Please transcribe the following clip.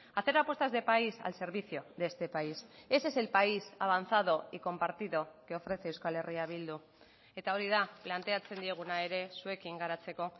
hacer apuestas de país al servicio de este país ese es el país avanzado y compartido que ofrece euskal herria bildu eta hori da planteatzen dieguna ere zuekin garatzeko